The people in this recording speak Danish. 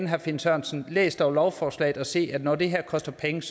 herre finn sørensen læs dog lovforslaget og se at når det her koster penge